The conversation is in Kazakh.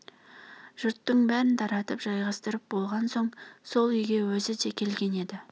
жұрттың бәрін таратып жайғастырып болған соң сол үйге өзі де келген еді